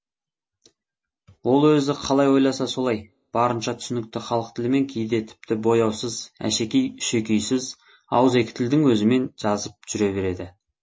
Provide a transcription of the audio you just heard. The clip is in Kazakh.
ол өзі қалай ойласа солай барынша түсінікті халық тілімен кейде тіпті бояусыз әшекей үшекейсіз ауызекі тілдің өзімен жазып жүре береді